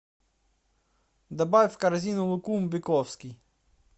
добавь в корзину лукум бековский